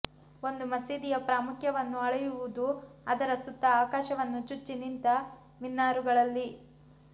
ಒಂದು ಮಸೀದಿಯ ಪ್ರಾಮುಖ್ಯವನ್ನು ಅಳೆಯುವುದು ಅದರ ಸುತ್ತ ಆಕಾಶವನ್ನು ಚುಚ್ಚಿ ನಿಂತ ಮಿನಾರುಗಳಲ್ಲಿ